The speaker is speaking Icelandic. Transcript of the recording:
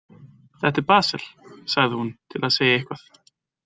Þetta er Basel, sagði hún til að segja eitthvað.